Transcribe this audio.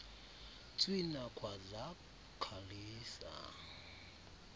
tswina khwaza khalisa